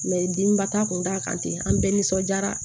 dimin ba ta kun t'a kan ten an bɛɛ nisɔndiyara